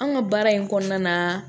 Anw ka baara in kɔnɔna na